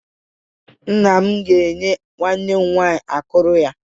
Nna m ga-enye nwanne m nwaanyị akụrụ ya.